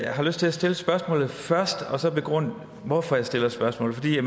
har lyst til at stille spørgsmålet først og så begrunde hvorfor jeg stiller spørgsmålet